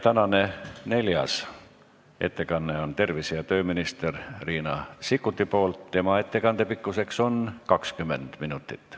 Tänane neljas ettekandja on tervise- ja tööminister Riina Sikkut, tema ettekande pikkus on 20 minutit.